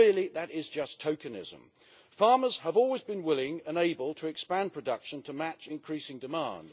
Really that is just tokenism. Farmers have always been willing and able to expand production to match increasing demand.